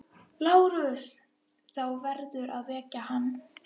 LÁRUS: Þá verður að vekja hann.